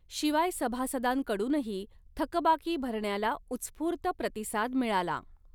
शिवाय सभासदांकडूनही थकबाकी भरण्याला उत्स्फूर्त प्रतिसाद मिळाला.